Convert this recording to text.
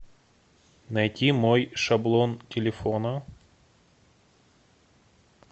найти мой шаблон телефона